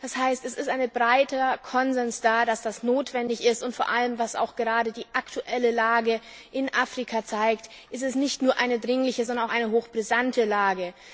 Das heißt, es besteht ein breiter Konsens, dass das notwendig ist, und vor allem was auch gerade die aktuelle Lage in Afrika zeigt ist es nicht nur eine dringliche, sondern auch eine hochbrisante Lage.